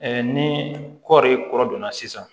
ni kɔɔri kɔrɔ donna sisan